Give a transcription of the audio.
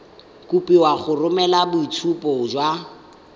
kopiwa go romela boitshupo ba